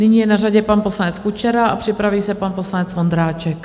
Nyní je na řadě pan poslanec Kučera a připraví se pan poslanec Vondráček.